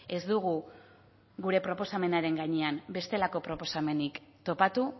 ez dugu gure proposamenaren gainean bestelako proposamenik topatu